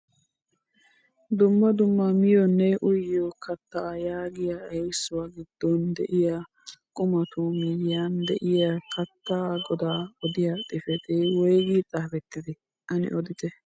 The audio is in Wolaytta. Dumma dumma miyoonne uyiyoo keettaa yaagiyaa erissuwaa giddon de'iyaa qumatu miyiyaan de'iyaa keettaa godaa odiyaa xifatee woygi xaafettidee ane odite?